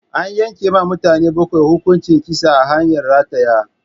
An yanke wa mutane bakwai hukuncin kisa ta hanyar rataya